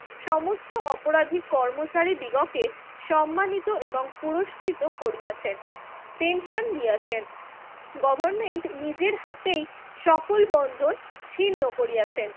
সমস্ত অপরাধী কর্মচারীদিগকে সম্মানিত এবং পুরস্কৃত করিয়াছেন, পেনশন দিয়াছেন। গভর্নমেন্ট নিজের হাতেই সকল বন্ধন ছিন্ন করিয়াছেন।